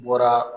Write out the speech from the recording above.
N bɔra